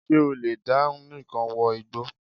Ṣé o lè dá nìkan wọ igbó?